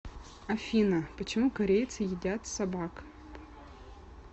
афина почему корейцы едят собак